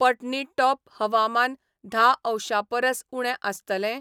पटनीटॉप हवामान धा अंशां परस उणें आसतलें ?